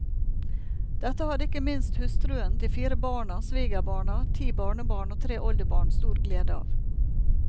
Dette hadde ikke minst hustruen, de fire barna, svigerbarna, ti barnebarn og tre oldebarn stor glede av.